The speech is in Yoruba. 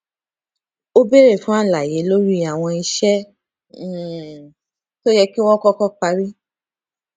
ó béèrè fún àlàyé lórí àwọn iṣẹ um tó yẹ kí wọn kọkọ parí